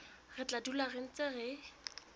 re tla dula re ntse